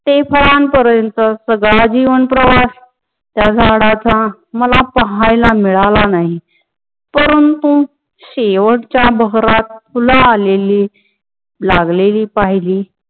ते फळा पर्यंत सगळा जीवन प्रवास त्या झाडाचा मला पाहायला मिळाला नाही. परंतु शेवटचा बहरात फुल आलेली लागलेली पहेली.